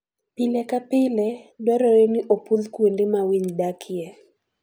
Pile ka pile, dwarore ni opwodh kuonde ma winy dakie.